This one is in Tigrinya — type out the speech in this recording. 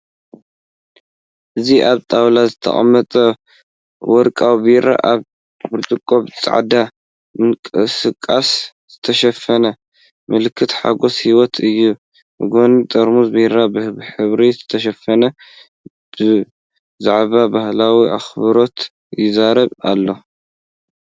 እዚ ኣብ ጣውላ ዝተቀመጠ ወርቃዊ ቢራ፡ ኣብ ብርጭቆ ብጻዕዳ ምንቅስቓስ ዝተሸፈነ፡ ምልክት ሓጎስ ህይወት እዩ፤ ብጎኒ ጥርሙዝ ቢራ፡ ብሕብሪ ዝተሸፈነ፡ ብዛዕባ ባህላዊ ኣኽብሮት ይዛረብ ኣሎ።